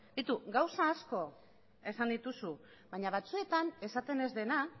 beitu gauza asko esan dituzu baina batzuetan esaten ez dena